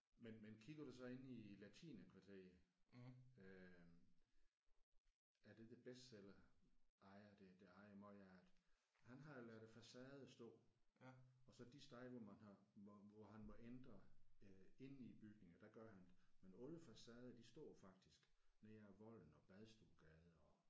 Men men kigger du så inde i latinerkvarteret øh af det der Bestseller ejer det der ejer meget af det han har jo ladet facaden stå og så de steder hvor man har hvor hvor han må ændre øh inde i bygningen der gør han det men alle facaderne de står faktisk ned ad Volden og Badstuegade og